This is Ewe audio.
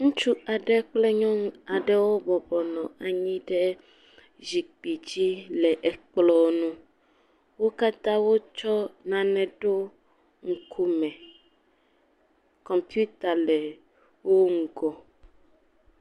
Ŋutsu aɖe kple nyɔnu aɖewo bɔbɔ nɔ anyi ɖe zikpui dzi le ekplɔ ŋu. Wo katã wotsɔ nane ɖo ŋkume, kɔmputa le wo ŋgɔ.